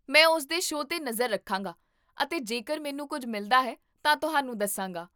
ਮੈਂ ਉਸ ਦੇ ਸ਼ੋਅ 'ਤੇ ਨਜ਼ਰ ਰੱਖਾਂਗਾ ਅਤੇ ਜੇਕਰ ਮੈਨੂੰ ਕੁੱਝ ਮਿਲਦਾ ਹੈ ਤਾਂ ਤੁਹਾਨੂੰ ਦੱਸਾਂਗਾ